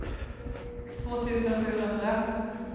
två tusen sjuhundra